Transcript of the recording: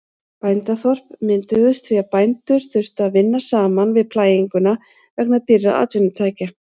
Bændaþorp mynduðust því að bændur þurftu að vinna saman við plæginguna vegna dýrra atvinnutækja.